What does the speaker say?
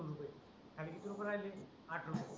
खाली किती रुपये राहिले आठ रुपये राहिले